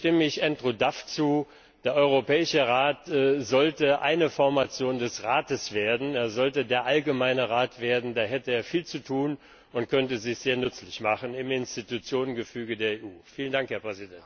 Langfristig stimme ich Andrew Duff zu Der Europäische Rat sollte eine Formation des Rates werden Er sollte der Allgemeine Rat werden, da hätte er viel zu tun und könnte sich sehr nützlich machen im Institutionengefüge der EU.